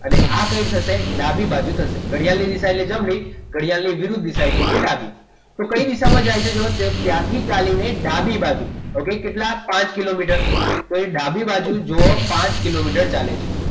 અને આ કઈ થશે ડાબી બાજુ થશે ઘડિયાળની એટલે દિશા એટલે જમણી ઘડિયાળની વિરુદ્ધ દિશા એટલે ડાબી તો કઈ દિશામાં જાય છે જુઓ તે ત્યાંથી ચાલીને ડાબી બાજુ એવું કે કેટલા પાંચ કિલોમીટર તો એ ડાબી બાજુએ જુઓ પાંચ કિલોમીટર ચાલે છે